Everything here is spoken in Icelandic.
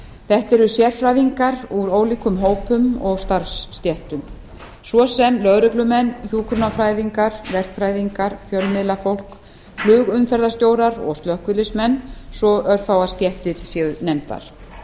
þetta eru sérfræðingar úr ólíkum hópum og starfsstéttum svo sem lögreglumenn hjúkrunarfræðingar verkfræðingar fjölmiðlafólk flugumferðarstjórar og slökkviliðsmenn svo örfáar stéttir séu nefndar